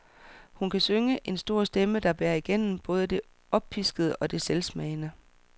Hun kan synge, en stor stemme, der bærer igennem både det oppiskede og det selvsmagende.